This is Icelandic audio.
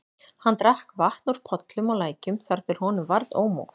Hann drakk vatn úr pollum og lækjum þar til honum varð ómótt.